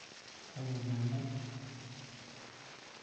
aininingu